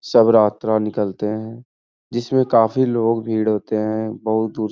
स्व्रात्रा निकलते हैं। जिसमें काफी लोग भीड़ होते हैं। बहुत दूर --